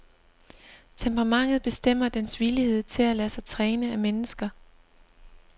Temperamentet bestemmer dens villighed til at lade sig træne af mennesker.